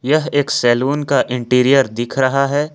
यह एक सैलून का इंटीरियर दिख रहा है।